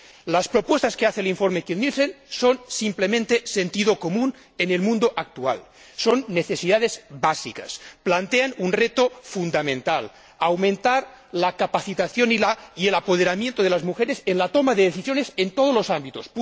Las propuestas que hace el informe Kiil Nielsen son simplemente de sentido común en el mundo actual, son necesidades básicas, plantean un reto fundamental 1 aumentar la capacitación y el apoderamiento de las mujeres en la toma de decisiones, en todos los ámbitos